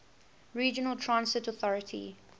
regional transit authority